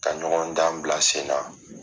Ka ɲɔgɔndan bila sen na.